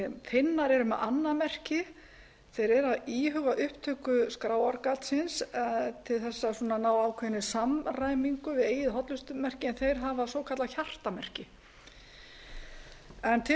eru með annað merki þeir eru að íhuga upptöku skráargatsins til að ná ákveðin samræmingu við eigið hollustumerki en þeir hafa svokallað hjartamerki til